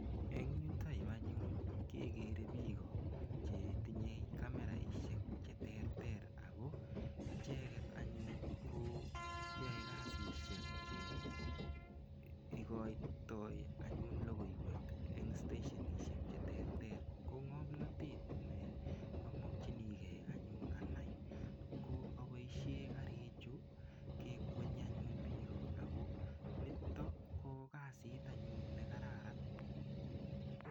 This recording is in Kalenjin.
Eng' yutoyu anyun kekere biko chetinyei kameraishek cheterter ako icheget anyun ko yoei kasishek cheikoitoi anyun lokoiwek eng' stashionishek cheterter ko ng'omnotet neamokchinigei anyun anai ko aboishe karichu kekwenyi anyun biko ako nito ko kasit anyun nekararan